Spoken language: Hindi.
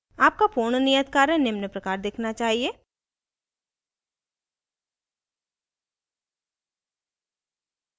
आपका पूर्ण नियत कार्य निम्न प्रकार दिखना चाहिए